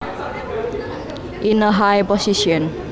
In a high position